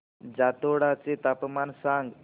जातोडा चे तापमान सांग